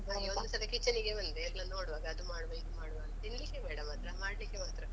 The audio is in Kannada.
ಒಂದ್ಸಲ ಕಿಚನ್ನಿಗೆ ಬಂದ್ರೆ ಎಲ್ಲ ನೋಡುವಾಗ ಅದ್ ಮಾಡುವ ಇದ್ ಮಾಡ್ವ ಮಾಡ್ಲಿಕ್ಕೆ ಮಾತ್ರ